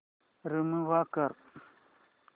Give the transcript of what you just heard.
remove कर